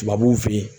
Tubabuw fe yen